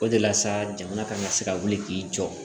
O de la sa jamana kana se ka wuli k'i jɔ